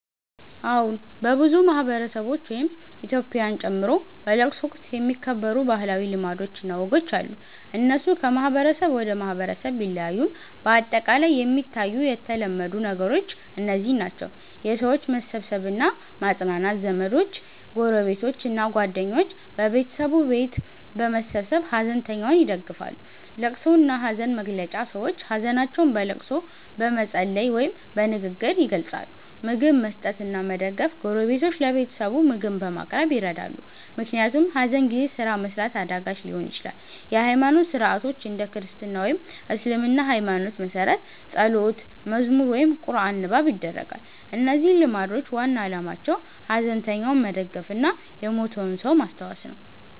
አዎን፣ በብዙ ማህበረሰቦች (ኢትዮጵያን ጨምሮ) በለቅሶ ወቅት የሚከበሩ ባህላዊ ልማዶች እና ወጎች አሉ። እነሱ ከማህበረሰብ ወደ ማህበረሰብ ቢለያዩም በአጠቃላይ የሚታዩ የተለመዱ ነገሮች እነዚህ ናቸው፦ የሰዎች መሰብሰብ እና ማጽናናት ዘመዶች፣ ጎረቤቶች እና ጓደኞች በቤተሰቡ ቤት በመሰብሰብ ሐዘንተኛውን ይደግፋሉ። ልቅሶ እና ሐዘን መግለጫ ሰዎች ሀዘናቸውን በልቅሶ፣ በመጸለይ ወይም በንግግር ይገልጻሉ። ምግብ መስጠት እና መደገፍ ጎረቤቶች ለቤተሰቡ ምግብ በማቅረብ ይረዳሉ፣ ምክንያቱም ሐዘን ጊዜ ስራ መስራት አዳጋች ሊሆን ይችላል። የሃይማኖት ሥርዓቶች እንደ ክርስትና ወይም እስልምና ሃይማኖት መሠረት ጸሎት፣ መዝሙር ወይም ቁርአን ንባብ ይደረጋል። እነዚህ ልማዶች ዋና ዓላማቸው ሐዘንተኛውን መደገፍ እና የሞተውን ሰው ማስታወስ ነው።